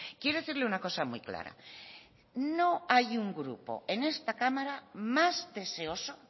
quiero decirle una cosa muy clara no hay un grupo en esta cámara más deseoso